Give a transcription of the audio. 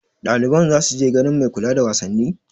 Ɗaliban za su je ganin mai kula da wasanni?